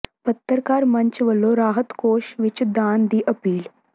ਪੱਤਰਕਾਰ ਮੰਚ ਵੱਲੋਂ ਰਾਹਤ ਕੋਸ਼ ਵਿੱਚ ਦਾਨ ਦੀ ਅਪੀਲ